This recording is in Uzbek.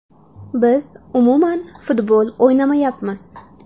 Biz umuman futbol o‘ynamayapmiz.